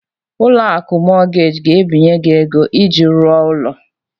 Ụlọ akụ Mọgaji ga-ebinye gị ego iji rụọ ụlọ.